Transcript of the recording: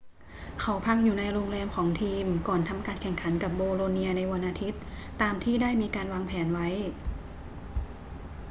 เขาพักอยู่ในโรงแรมของทีมก่อนทำการแข่งขันกับโบโลเนียในวันอาทิตย์ตามที่ได้มีการวางแผนไว้